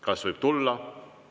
Kas võib tulla?